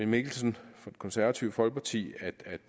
mikkelsen fra det konservative folkeparti